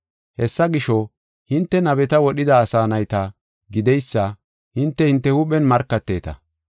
Hessa gisho, hinte nabeta wodhida asaa nayta gideysa hinte hinte huuphen markateeta.